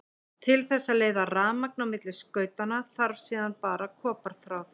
Til þess að leiða rafmagn á milli skautanna þarf síðan bara koparþráð.